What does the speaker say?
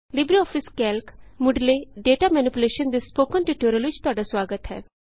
LibreOffice Calc ਮੁੱਢਲੇ data manipulation ਦੇ spoken tutorial ਵਿਚ ਤੁਹਾਡਾ ਸੁਆਗਤ ਹੈ